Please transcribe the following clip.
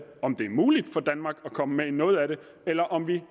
om det er muligt for danmark at komme med i noget af det eller om vi